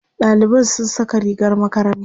ɗaliban sun Saka rigar makaranta